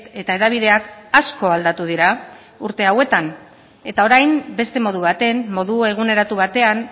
eta hedabideak asko aldatu dira urte hauetan eta orain beste modu baten modu eguneratu batean